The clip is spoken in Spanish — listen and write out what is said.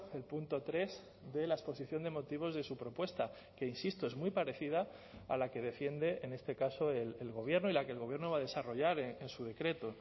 el punto tres de la exposición de motivos de su propuesta que insisto es muy parecida a la que defiende en este caso el gobierno y la que el gobierno va a desarrollar en su decreto